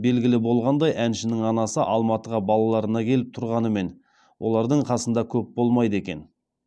белгілі болғандай әншінің анасы алматыға балаларына келіп тұрғанымен олардың қасында көп болмайды екен